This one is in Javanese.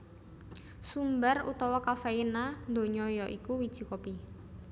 Sumber utama kafeina ndonya ya iku wiji kopi